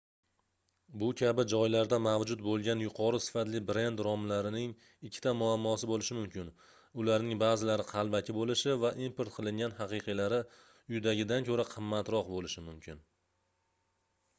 bu kabi joylarda mavjud boʻlgan yuqori sifatli brend romlaring ikkita muammosi boʻlishi mumkin ularning baʼzilari qalbaki boʻlishi va import qilingan haqiqiylari uydagidan koʻra qimmatroq boʻlishi mumkin